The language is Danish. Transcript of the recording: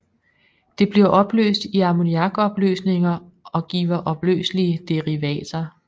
Det bliver opløst i ammoniakopløsninger og giver opløselige derivater